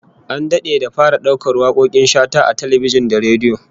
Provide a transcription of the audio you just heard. An dade da fara daukar wakokin Shata a talbijin da rediyo